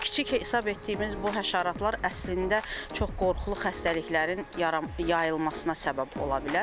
Çox kiçik hesab etdiyimiz bu həşaratlar əslində çox qorxulu xəstəliklərin yayılmasına səbəb ola bilər.